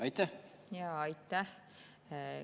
Aitäh!